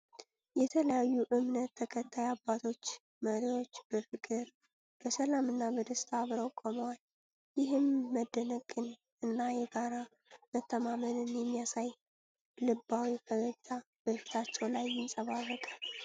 የተለያዩ እምነት ተከታይ አባቶች፣ መሪዎች በፍቅር፣ በሰላም እና በደስታ አብረው ቆመዋል፤ ይህም መደነቅን እና የጋራ መተማመንን የሚያሳይ፣ ልባዊ ፈገግታ በፊታቸው ላይ ያንጸባርቃል።